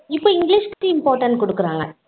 இப்போ english க்கு important போட்டாலும் குடுக்குறாங்க